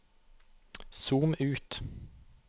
zoom ut